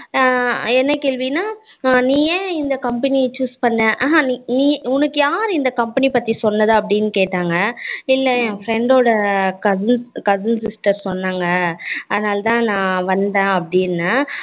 அஹ் என்ன கேள்வி னா நீ என் இந்த company choose பண்ண அஹ் நீ உனக்கு யாரு இந்த company பத்தி சொன்னது அப்படினு கேட்டாங்க. இல்ல என் friend ஓட cousin sister சொன்னாங்க அதனால தான் நான் வந்தேன் அப்படின்னன்